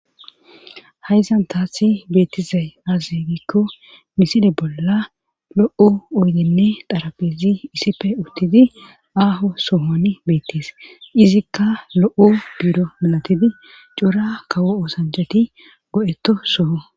Hayzan taathi beettizay azegikko miside bolla lo7u oydenne xarabezi issife uttidi aaho soohon beettees izikka lo7o biiro malatidi cuura kawo oosanjati go7etto soho